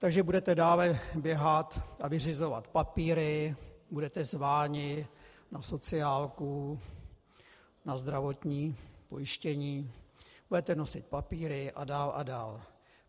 Takže budete dále běhat a vyřizovat papíry, budete zváni na sociálku, na zdravotní pojištění, budete nosit papíry a dál a dál.